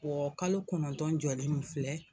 kalo kɔnɔntɔn jɔlen min filɛ.